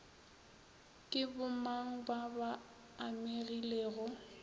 ke bomang ba ba amegilego